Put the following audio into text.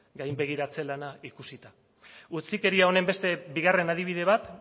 gainbegiratze lana ikusita utzikeria honen beste bigarren adibide bat